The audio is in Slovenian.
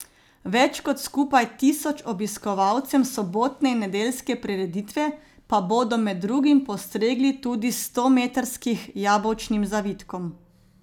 Več kot skupaj tisoč obiskovalcem sobotne in nedeljske prireditve pa bodo med drugim postregli tudi s stometrskih jabolčnim zavitkom.